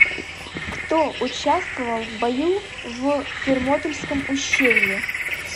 кто участвовал в бою в фермопильском ущелье